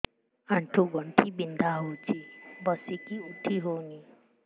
ଆଣ୍ଠୁ ଗଣ୍ଠି ବିନ୍ଧା ହଉଚି ବସିକି ଉଠି ହଉନି